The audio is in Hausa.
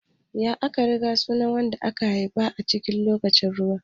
Ya ake kiran sunan wanda aka haifa lokacin ruwa?